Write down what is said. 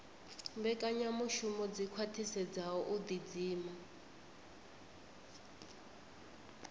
mbekanyamushumo dzi khwaṱhisedzaho u ḓidzima